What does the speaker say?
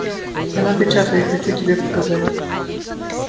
я напечатал их хочу тебе показать